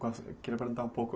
perguntar um pouco...